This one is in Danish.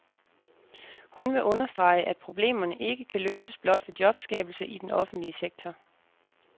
Hun vil understrege, at problemerne ikke kan løses blot ved jobskabelse i den offentlige sektor.